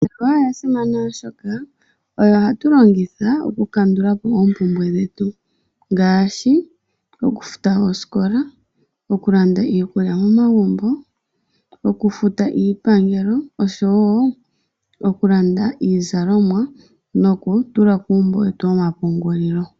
Iimaliwa oya simana, oshoka oyo hatu longitha okukandulapo oompumbwe dhetu. Ngaashi, okufuta oosikola, okulanda iikulya momagumbo, okufuta iipangelo, okulanda iizalomwa, noshowo okutula kuumbo wetu womapungulilo.